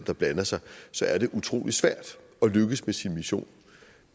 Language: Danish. der blander sig så er det utrolig svært at lykkes med sin mission